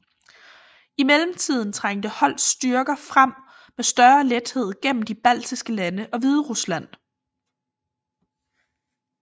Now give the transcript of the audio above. I mellemtiden trængte Hoths styrker frem med større lethed gennem de baltiske lande og Hviderusland